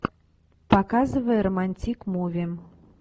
показывай романтик муви